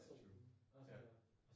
That's true. Ja